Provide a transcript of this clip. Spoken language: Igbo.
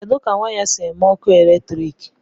kedu ka waya si eme ọkụ eletrik